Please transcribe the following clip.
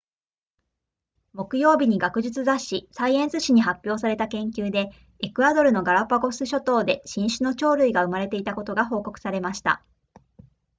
木曜日に学術雑誌サイエンス誌に発表された研究でエクアドルのガラパゴス諸島で新種の鳥類が生まれていたことが報告されました